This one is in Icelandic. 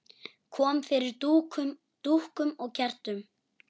Kom fyrir dúkum og kertum.